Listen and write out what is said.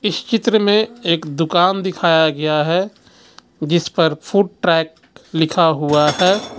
इस चित्र में एक दूकान दिखाया गया है जिस पर फूड ट्रैक लिखा हुआ है.